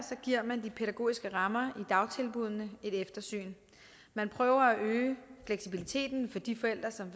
giver man de pædagogiske rammer i dagtilbuddene et eftersyn man prøver at øge fleksibiliteten for de forældre som